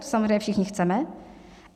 To samozřejmě všichni chceme.